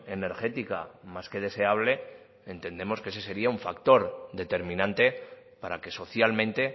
energética más que deseable entendemos que ese sería un factor determinante para que socialmente